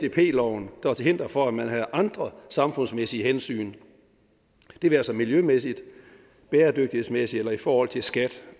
loven der er til hinder for at man havde andre samfundsmæssige hensyn det være sig miljømæssigt bæredygtighedsmæssigt eller i forhold til skat